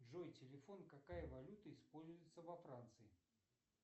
джой телефон какая валюта используется во франции